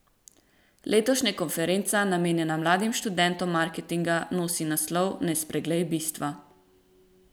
Letošnja konferenca, namenjena mladim študentom marketinga, nosi naslov Ne spreglej bistva.